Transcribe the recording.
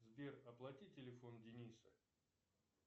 сбер оплати телефон дениса